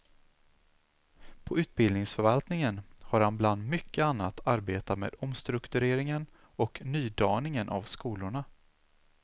På utbildningsförvaltningen har han bland mycket annat arbetat med omstruktureringen och nydaningen av skolorna.